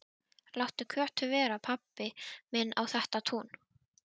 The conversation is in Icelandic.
Láttu Kötu vera, pabbi minn á þetta tún!